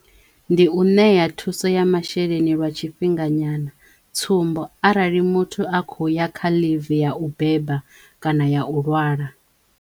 Ndi u ṋeya thuso ya masheleni lwa tshifhinga nyana. Tsumbo, arali muthu a kho ya kha ḽivi ya u beba kana ya u lwala.